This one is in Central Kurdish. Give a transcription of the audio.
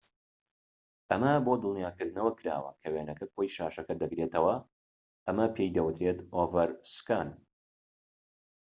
ئەمە بۆ دڵنیاکردنەوە کراوە کە وێنەکە کۆی شاشەکە دەگرێتەوە ئەمە پێی دەوترێت ئۆڤەرسکان